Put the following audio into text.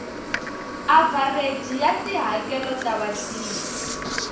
avhareji ya tihakelo ta vatirhi